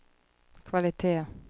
kvalitet